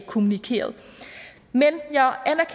kommunikeret